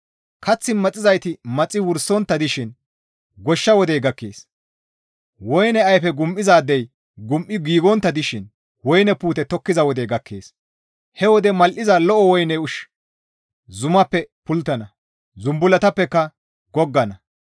«Kath maxizayti maxi wursontta dishin goshsha wodey gakkees; woyne ayfe gum7izaadey gum7i giigontta dishin woyne puute tokkiza wodey gakkees; he wode mal7iza lo7o woyne ushshi zumaappe pulttana; zumbullatappeka goggana.